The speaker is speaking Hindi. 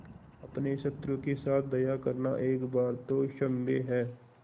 अपने शत्रु के साथ दया करना एक बार तो क्षम्य है